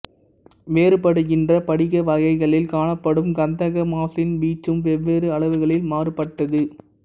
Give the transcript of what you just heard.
வேறுபடுகின்ற படிக வகைகளில் காணப்படும் கந்தக மாசின் வீச்சும் வெவ்வேறு அளவுகளில் மாறுபட்டது